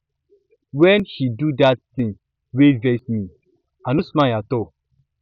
wen she do dat tin wey vex me i no smile at all